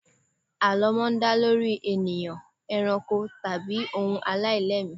Àlọ́ máa ń dá lórí ènìyàn, eranko, tàbí ohun aláìlẹ́mìí.